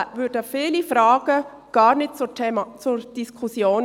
Dann stünden viele Fragen gar nicht zur Diskussion.